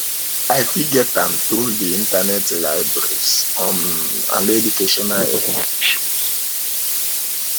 i fit get am through di internet libraries um and educational institutions